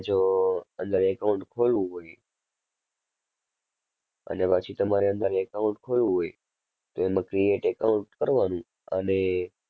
જો અંદર account ખોલવું હોય, અને પછી તમારે અંદર account ખોલવું હોય, તો એમાં create account કરવાનું અને